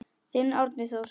Þinn Árni Þór.